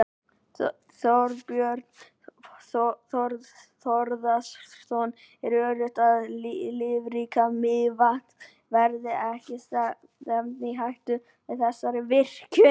Þorbjörn Þórðarson: Er öruggt að lífríki Mývatns verði ekki stefnt í hættu með þessari virkjun?